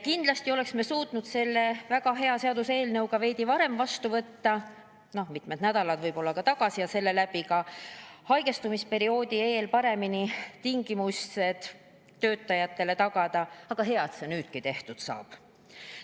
Kindlasti oleksime suutnud selle väga hea seaduseelnõu ka veidi varem vastu võtta, võib-olla mitmed nädalad tagasi, ja sellega juba enne haigestumisperioodi paremad tingimused töötajatele tagada, aga hea, et see nüüdki tehtud saab.